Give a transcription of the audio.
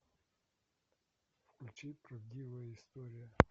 включи правдивая история